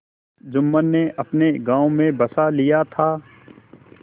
जुम्मन ने अपने गाँव में बसा लिया था